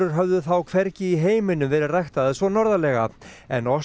höfðu þá hvergi í heiminum verið ræktaðar svo norðarlega en